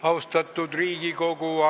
Austatud Riigikogu!